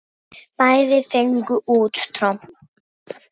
Bæði fengu út tromp.